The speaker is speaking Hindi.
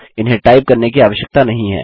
इन्हें टाइप करने की आवश्यकता नहीं है